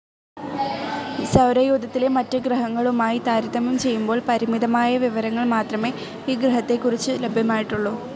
സൗരയൂഥത്തിലെ മറ്റ് ഗ്രഹങ്ങളുമായി താരതമ്യം ചെയ്യുമ്പോൾ പരിമിതമായ വിവരങ്ങൾ മാത്രമേ ഈ ഗ്രഹത്തെ കുറിച്ച്‌ ലഭ്യമായിട്ടുള്ളൂ.